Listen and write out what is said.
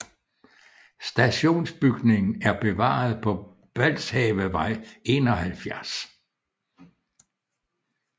Stationsbygningen er bevaret på Balshavevej 71